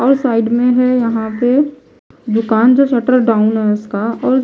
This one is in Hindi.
और साइड में है यहां पे दुकान जो शटर डाउन है उसका और--